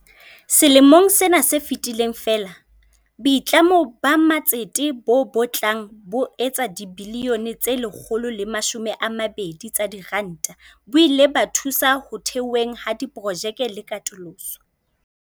Selemong sena se fetileng feela, boitlamo ba matsete bo batlang bo etsa dibilione tse 120 tsa diranta bo ile ba thusa ho theweng ha diprojekte le katoloso.